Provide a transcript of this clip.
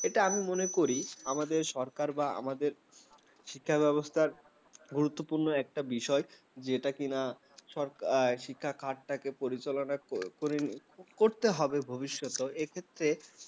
এটা আমি মনে করি আমাদের সরকার বা আমাদের শিক্ষা ব্যবস্থার গুরুত্বপূর্ণ একটা বিষয় যেটা কিনা সরকার শিক্ষা খাটটা পরিচালনা করে করতে হবে ভবিষ্যতে এক্ষেত্রে